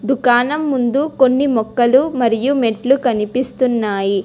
దుకాణం ముందు కొన్ని మొక్కలు మరియు మెట్లు కనిపిస్తున్నాయి.